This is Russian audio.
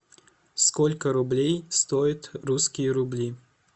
сколько рублей стоит русские рубли